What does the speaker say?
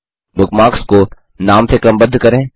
bookmarks को नाम से क्रमबद्ध करें